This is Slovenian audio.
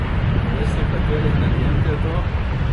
Pa veste, kateri energent je to?